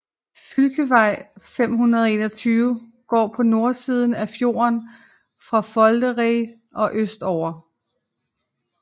Fylkesvei 521 går på nordsiden af fjorden fra Foldereid og østover